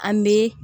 An bɛ